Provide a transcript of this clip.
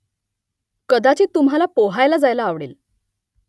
कदाचित तुम्हाला पोहायला जायला आवडेल